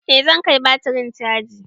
Eh zan kai batirin caji.